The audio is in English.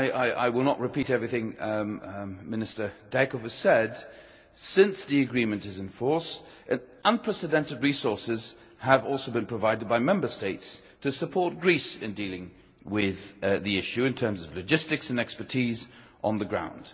I shall not repeat everything Minister Dijkhoff said, but since the agreement has been in force, unprecedented resources have also been provided by Member States to support Greece in dealing with the issue, in terms of logistics and of expertise on the ground.